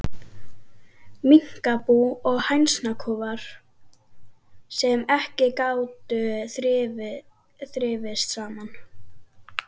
Minkabú og hænsnakofar, sem ekki gátu þrifist saman.